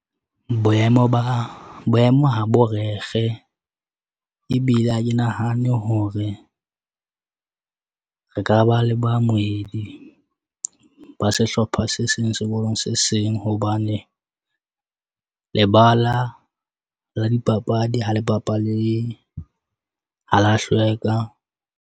Boemo ba boemo habo rekge, ebile ha ke nahane hore re ka ba le baamohedi ba sehlopha se seng sekolong se seng hobane lebala la dipapadi ha le bapalehe ha la hlweka.